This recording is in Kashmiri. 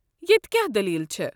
ییٚتہ کیٚاہ دٔلیٖل چھ؟